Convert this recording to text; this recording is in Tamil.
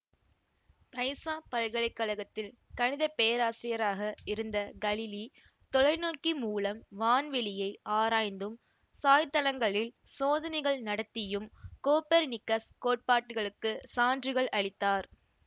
பைசா பல்கலை கழகத்தில் கணித பேராசிரியராக இருந்த கலிலி தொலைநோக்கி மூலம் வான்வெளியை ஆராய்ந்தும் சாய்தளங்களில் சோதனைகள் நடத்தியும் கோப்பர்னிக்கசு கோட்பாட்டுகளுக்கு சான்றுகள் அளித்தார்